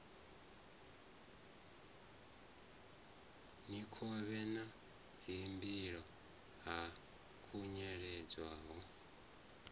mikovhe na dzimbilo ha khunyeledzwa